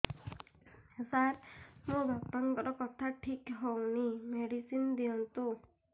ସାର ମୋର ବାପାଙ୍କର କଥା ଠିକ ହଉନି ମେଡିସିନ ଦିଅନ୍ତୁ